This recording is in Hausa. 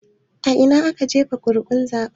A ina ne aka jefa ƙuri'un zaben?